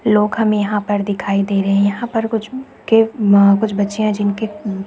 लोग हमें यहाँ दिखाई दे रहे है यहाँ पर कुछ के कुछ बच्चे हैं जिनके--